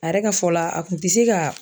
A yɛrɛ ka fɔlɔ la a kun tɛ se ka